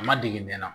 A ma dege bɛ n na